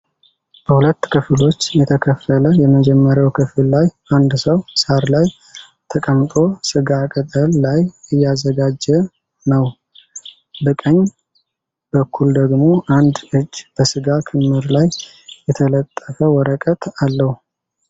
በሁለት ክፍሎች የተከፈለ የመጀመሪያው ክፍል ላይ አንድ ሰው ሣር ላይ ተቀምጦ ሥጋ ቅጠል ላይ እያዘጋጀ ነው። በቀኝ በኩል ደግሞ አንድ እጅ በስጋ ክምር ላይ የተለጠፈ ወረቀት አለው።